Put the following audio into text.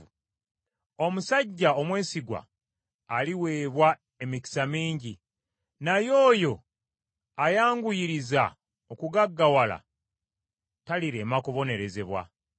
Omusajja omwesigwa aliweebwa emikisa mingi, naye oyo ayanguyiriza okugaggawala talirema kubonerezebwa.